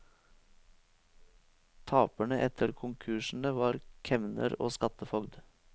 Taperne etter konkursene var kemner og skattefogd.